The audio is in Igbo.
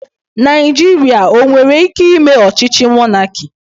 Naijiria o nwere ike ime ochíchí mọnaki?